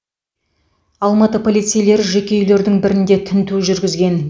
алматы полицейлері жеке үйлердің бірінде тінту жүргізген